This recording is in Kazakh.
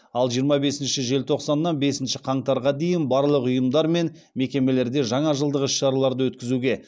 ал жиырма бесінші желтоқсаннан бесінші қаңтарға дейін барлық ұйымдар мен мекемелерде жаңа жылдық іс шараларды өткізуге